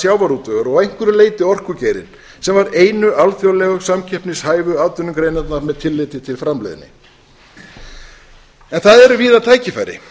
sjávarútvegur og að einhverju leyti orkugeirinn sem voru einu samkeppnishæfu atvinnugreinarnar með tilliti til framleiðni en það eru víða tækifæri